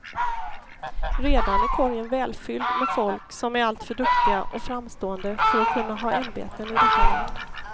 Redan är korgen välfylld med folk som är alltför duktiga och framstående för att kunna ha ämbeten i detta land.